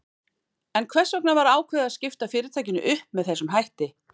En hvers vegna var ákveðið að skipta fyrirtækinu upp með þessum hætti?